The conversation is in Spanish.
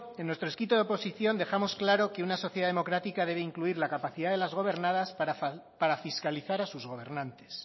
en nuestro escrito de oposición dejamos claro que una sociedad democrática debe incluir la capacidad de las gobernadas para fiscalizar a sus gobernantes